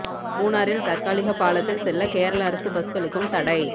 மூணாறில் தற்காலிக பாலத்தில் செல்ல கேரள அரசு பஸ்களுக்கும் தடை